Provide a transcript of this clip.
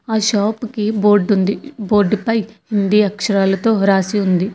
ఆ షాప్ కి బోర్డు ఉంది బోర్డుపై హిందీ అక్షరాలతో వ్రాసి ఉంది.